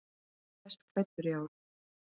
Hver er best klæddur í ár?